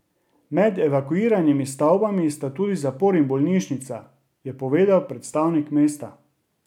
Med evakuiranimi stavbami sta tudi zapor in bolnišnica, je povedal predstavnik mesta.